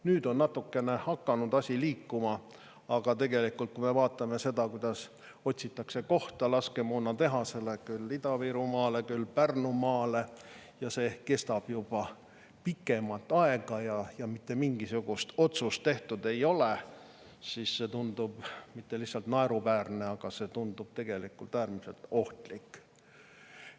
Nüüd on natukene hakanud asi liikuma, aga tegelikult, kui me vaatame seda, kuidas otsitakse kohta laskemoonatehasele küll Ida-Virumaale, küll Pärnumaale ja see kestab pikemat aega ja mitte mingisugust otsust tehtud ei ole, siis see tundub mitte lihtsalt naeruväärne, vaid see tundub tegelikult äärmiselt ohtlik.